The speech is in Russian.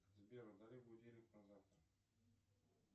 сбер удали будильник на завтра